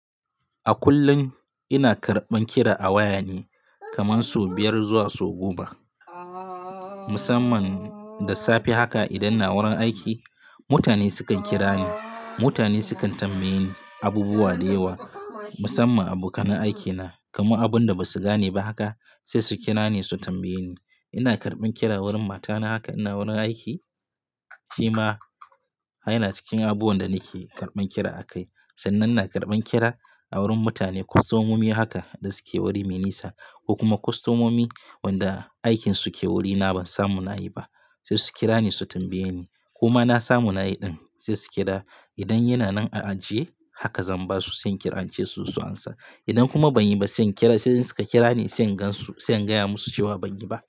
A kullum ina karɓan kira a waya ne kaman so biyar zuwa so goma. Musamman, da safe haka idan ina wurin aiki mutane sukan kira ni. Mutane sukan tambaye ni abubuwa da yawa, musamman abokan aikina. Kuma abun da basu gane ba haka sai su kira ni su tambaye ni. Ina karɓan kira wurin matana haka ina wurin aiki shima yana cikin abubuwan da nake karɓan kira a kai. Sannan ina karɓan kira, a wurin mutane kostomomi haka da suke wuri me nisa, ko kuma kostomomi wanda aikin su ke wurina ban samu na yi ba sai su kira ni su tambaye ni. Koma na samu na yi ɗin, sai su kira, idan yana nan a ajiye haka zan ba su, sai in kira ince su zo su amsa. Idan kuma ban yi ba, sai in kira sai in suka kira ni sai in gansu sai in gaya musu cewa ban yi ba.